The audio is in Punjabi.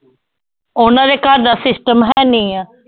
ਉਹਨਾਂ ਦੇ ਘਰ ਦਾ system ਹੈਨੀ ਹੈ